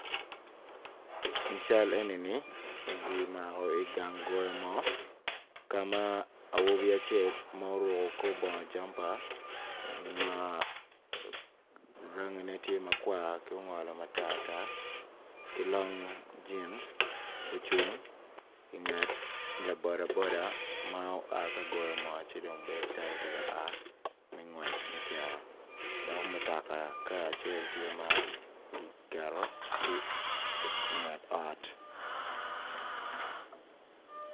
I cal enini gimako i gang goyo moo ka ma awobi acel ma oruko kor bongo jampa ma rangine tye makwar r ki ongolo matar tar ki long jin ocung inget laboda boda ma oa ka goyo moo ci dong bedo calo tye ka a me ngwec me cito dok mutoka kar acel tye ma giketo ki inget ot.